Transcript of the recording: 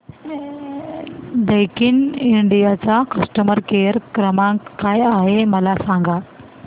Daikin India चा customer care क्रमांक काय आहे मला सांगा